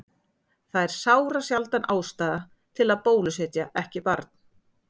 Það er sárasjaldan ástæða til að bólusetja ekki barn.